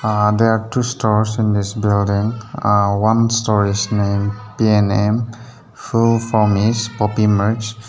Ah there are two stores in this building one storage name PNM m full form is poppy merch.